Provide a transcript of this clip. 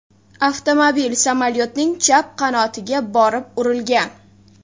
Avtomobil samolyotning chap qanotiga borib urilgan.